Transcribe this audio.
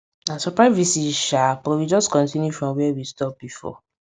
na surprise visit sha but we just continue from where we stop before